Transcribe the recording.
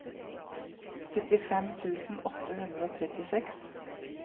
syttifem tusen åtte hundre og trettiseks